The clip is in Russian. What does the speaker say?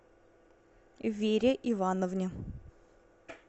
вере ивановне